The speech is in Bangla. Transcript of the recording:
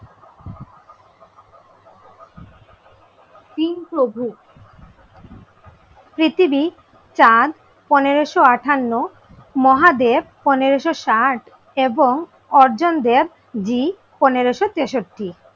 তিন প্রভু চার পনেরোশো আঠান্ন মহাদেব পনেরোশো ষাট এবং অর্জন দেবজী পনেরোশো তেষট্টি